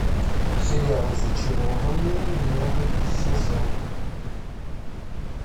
сериал зачарованные новый сезон